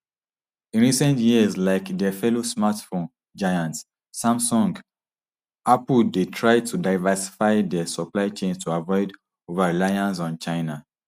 in recent years like dia fellow smartphone giant samsung apple dey try to diversify dia supply chains to avoid overreliance on china